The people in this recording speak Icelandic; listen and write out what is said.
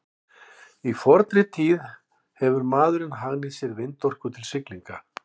frá fornri tíð hefur maðurinn hagnýtt sér vindorku til siglinga